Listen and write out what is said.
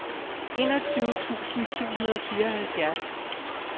enogtyve tusind syv hundrede og fireoghalvfjerds